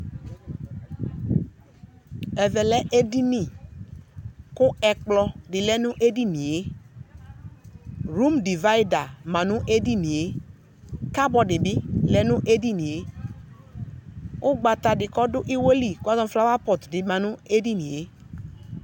Ɛvɛ lɛ edini , kʋ ɛkplɔ dɩ lɛ nʋ edinie , rum divayɩda ma nʋ edinie , kabɔd bɩ lɛ nʋ edinie , ugbata dɩ k'ɔdʋ ɩwɛ li kazɔ nʋ flawapɔt dɩ ma n'edinie